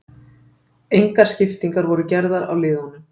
Engar skiptingar voru gerðar á liðunum